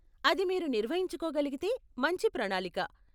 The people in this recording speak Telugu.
అది మీరు నిర్వహించుకోగలిగితే మంచి ప్రణాళిక.